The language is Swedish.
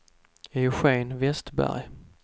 Eugén Westberg